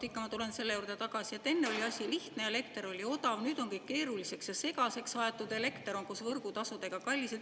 Jaa, vot ma tulen selle juurde tagasi, et enne oli asi lihtne ja elekter oli odav, nüüd on kõik keeruliseks ja segaseks aetud, elekter on koos võrgutasudega kallis.